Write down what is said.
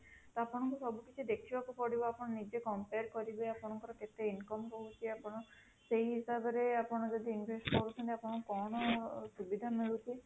ତ ଆପଣଙ୍କୁ ସବୁ କିଛି ଦେରଖିବାକୁ ପଡିବ ଆପଣ ନିଜେ compare ଆପଣଙ୍କର କେତେ income ହଉଚି ଆପଣ ସେହି ହିସାବ ରେ ଆପଣ ଯଦି invest କରୁଛନ୍ତି କଣ ସୁବିଧା ମିଳୁଛି